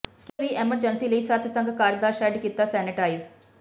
ਕਿਸੇ ਵੀ ਐਮਰਜੈਂਸੀ ਲਈ ਸਤਿਸੰਗ ਘਰ ਦਾ ਸ਼ੈੱਡ ਕੀਤਾ ਸੈਨੇਟਾਈਜ਼